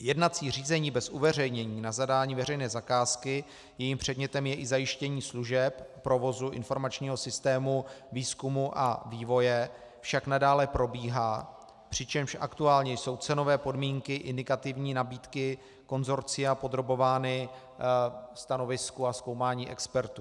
Jednací řízení bez uveřejnění na zadání veřejné zakázky, jejím předmětem je i zajištění služeb provozu informačního systému výzkumu a vývoje, však nadále probíhá, přičemž aktuálně jsou cenové podmínky indikativní nabídky konsorcia podrobovány stanovisku a zkoumání expertů.